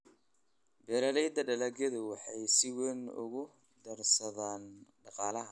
Beeraleyda dalagyadu waxay si weyn ugu darsadaan dhaqaalaha.